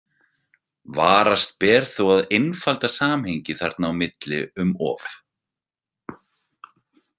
Varast ber þó að einfalda samhengið þarna á milli um of.